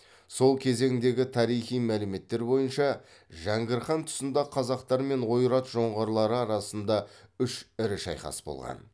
сол кезеңдегі тарихи мәліметтер бойынша жәңгір хан тұсында қазақтар мен ойрат жоңғарлары арасында үш ірі шайқас болған